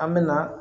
An bɛ na